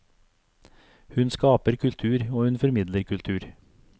Hun skaper kultur og hun formidler kultur.